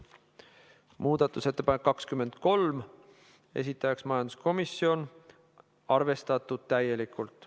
Muudatusettepanek nr 23, esitajaks majanduskomisjon, arvestatud täielikult.